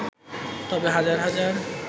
তবে হাজার হাজার